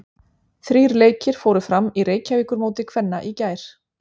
Þrír leikir fóru fram í Reykjavíkurmóti kvenna í gær.